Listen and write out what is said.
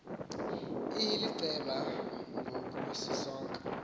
ihiliceba ngoku isisonka